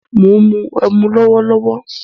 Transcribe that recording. Mó ń mu ẹmu lọwọlọwọ